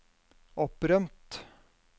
opprømt